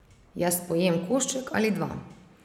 Jaz pojem košček ali dva.